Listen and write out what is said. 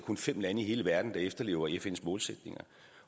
kun fem lande i hele verden der efterlever fns målsætninger